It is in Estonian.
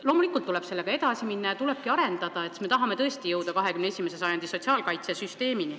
Loomulikult tuleb sellega edasi minna ja tuleb arendada, me tahame tõesti jõuda 21. sajandi sotsiaalkaitsesüsteemini.